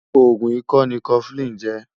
ògún ìkọ ní koflin jè